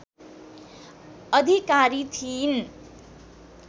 अधिकारी थिइन्